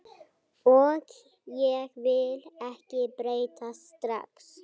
Og ég vil ekki breytast strax.